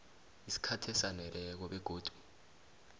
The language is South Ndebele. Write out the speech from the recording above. isikhathi esaneleko begodu